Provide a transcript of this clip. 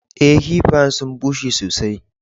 Eh, kiffayen sun busher sosai.